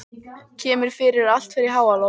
Kemur fyrir að allt fer í háaloft.